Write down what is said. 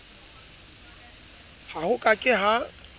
ha ho ka ke ha